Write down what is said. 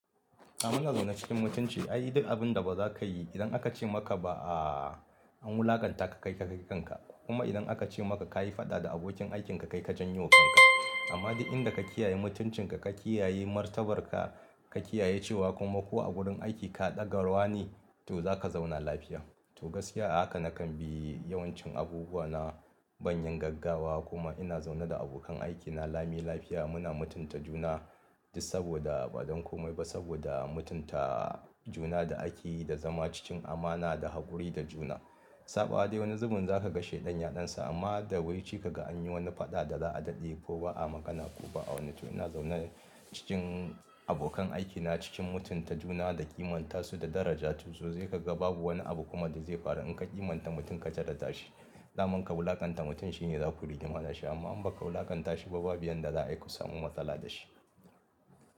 A muna zaune cikin mutunci. Ai duk abin da ba za ka yi idan aka ce maka ba a, an wulakanta ka, kai kakai kan ka. Kuma idan aka ce maka ka yi faɗa da abokin aikin ka, kai kajan yowa kanka. Amma duk inda ka kiyaye mutuncin ka, ka kiyaye martabar ka, ka kiyaye cewa kuma ko a wurin aiki ka ɗagarwa ne to za ka zauna lafiya. To gaskiya haka nakan bi yawancin abubuwa na ban yin gaggawa kuma ina zaune da abokan aikina lami lafiya muna mutunta juna. Saboda ba don komai ba saboda mutunta juna da aiki da zama cikin amana da haƙuri da juna. Saɓawa dai wani zubin za ka kashe ɗan yaɗansa amma da wai ce ka ga an yi wani faɗa da za a daɗe ko ba a magana ko ba a wani to ina zaune cikin abokan aikina cikin mutunta juna da ƙimanta su da daraja. To sosai ka ga babu wani abu kuma da zai ƙaru in ka ƙimanta mutum ka daraja shi. Da man ka wulakanta mutum shine za ku rigi ma dashi amma in ba ka wulakanta shi ba babu yan da za ayi ku samu matsala da shi.